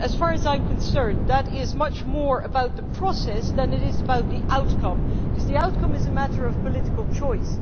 As far as I am concerned, that is much more about the process than it is about the outcome, because the outcome is a matter of political choice.